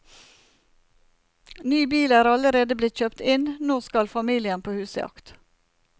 Ny bil er allerede blitt kjøpt inn, nå skal familien på husjakt.